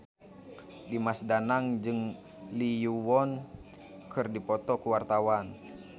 Dimas Danang jeung Lee Yo Won keur dipoto ku wartawan